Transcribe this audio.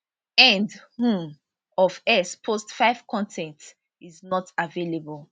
end um of x post 5 con ten t is not available